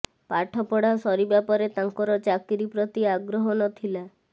ପାଠପଢ଼ା ସରିବା ପରେ ତାଙ୍କର ଚାକିରୀ ପ୍ରତି ଆଗ୍ରହ ନଥିଲା